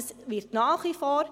Es wird nach wie vor …